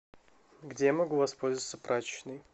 где я могу воспользоваться прачечной